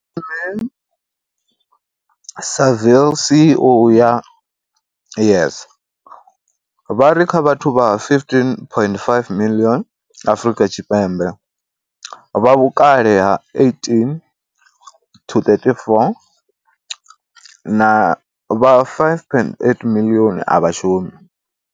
Ismail-Saville CEO wa YES, vha ri kha vhathu vha 15.5 miḽioni Afrika Tshipembe vha vhukale ha vhukati ha 18 na 34, vha 5.8 miḽioni a vha shumi.